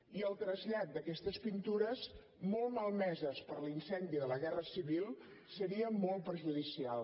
i el trasllat d’aquestes pintures molt malmeses per l’incendi de la guerra civil seria molt perjudicial